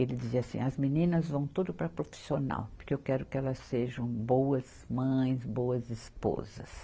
Ele dizia assim, as meninas vão tudo para a profissional, porque eu quero que elas sejam boas mães, boas esposas.